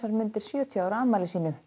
mundir sjötíu ára afmæli sínu